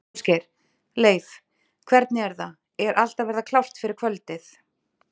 Ásgeir: Leif, hvernig er það, er allt að verða klárt fyrir kvöldið?